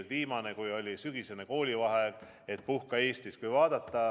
Ka viimati, kui oli sügisene koolivaheaeg, oli üleskutse, et puhka Eestis.